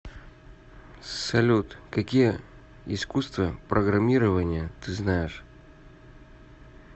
салют какие искусство программирования ты знаешь